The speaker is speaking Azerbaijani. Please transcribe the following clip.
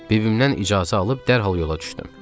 Bibimdən icazə alıb dərhal yola düşdüm.